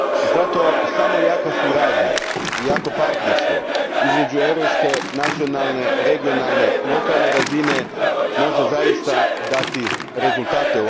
Zato samo jaka suradnja i jako partnerstvo između europske, nacionalne, regionalne, lokalne razine može u ovome slučaju zaista dati rezultate.